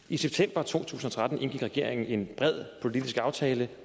i september to tusind og tretten indgik regeringen en bred politisk aftale